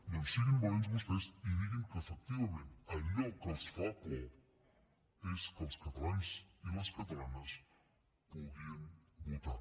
doncs siguin valents vostès i diguin que efectivament allò que els fa por és que els catalans i les catalanes puguin votar